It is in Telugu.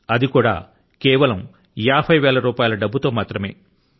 అది కూడా కేవలం యాభై వేల రూపాయల డబ్బు తో